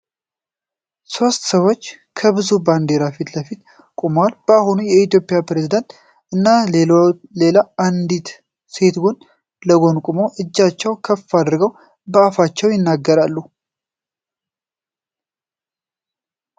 ሶስት ሰዎች ከብዙ ባንዲራዎች ፊት ለፊት ቆመዋል። የአሁኑ የኢትዮጵያ ፕሬዝደንት እና ሌላ አንዲት ሴት ጎን ለጎን ቆመው እጃቸውን ከፍ አድርገው በአፋቸው ይናገራሉ።